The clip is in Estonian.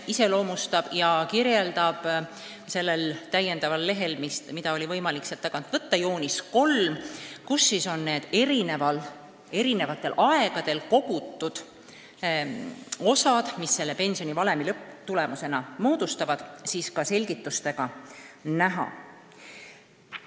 Seda kirjeldab sellel täiendaval materjalil, mida teil oli võimalik saali tagaosast võtta, joonis 3, millel on eri aegadel kogutud osad, mis pensionivalemi lõpptulemusena moodustavad, koos selgitustega näha.